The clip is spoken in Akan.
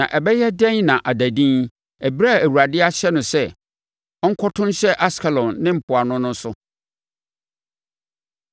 Na ɛbɛyɛ dɛn na ada dinn ɛberɛ a Awurade ahyɛ no sɛ ɔnkoto nhyɛ Askelon ne mpoano no so?”